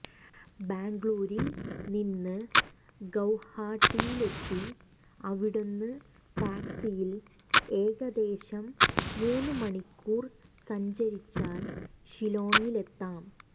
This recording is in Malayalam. ബാംഗ്ലൂരിൽ നിന്ന് ഗൌഹാട്ടിയിലെത്തി അവിടുന്ന് ടാക്സിയിൽ ഏകദേശം മൂന്നു മണിക്കൂർ സഞ്ചരിച്ചാൽ ഷില്ലോഗിലെത്താം